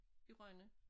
I Rønne